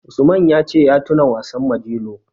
Usman ya ce ya tuna wasan Majelo.